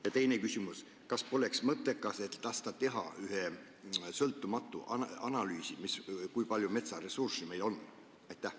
Ja teine küsimus: kas poleks mõttekas lasta teha üks sõltumatu analüüs selle kohta, kui palju meil metsaressurssi on?